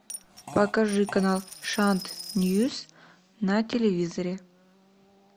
покажи канал шант ньюс на телевизоре